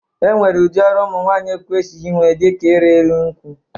E nwere ụdị ọrụ ụmụnwaanyị e kwesighi ime dị ka ịrị enu nkwụ.